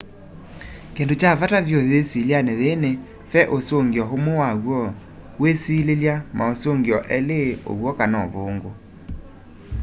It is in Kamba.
kindũ kya vata vyũ yisilyani yii ni ve ũsũngio umwe wa w'o wiisililya mausungio eli uw'o kana ũvungũ